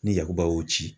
Ni yakuba y'o ci